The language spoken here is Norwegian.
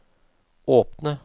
åpne